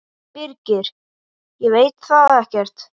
Birgir: Ég veit það ekkert.